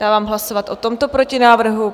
Dávám hlasovat o tomto protinávrhu.